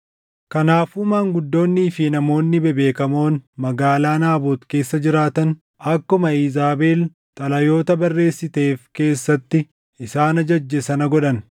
Kanaafuu maanguddoonnii fi namoonni bebbeekamoon magaalaa Naabot keessa jiraatan akkuma Iizaabel xalayoota barreessiteef keessatti isaan ajajje sana godhan.